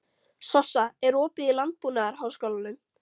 Sossa, er opið í Landbúnaðarháskólanum?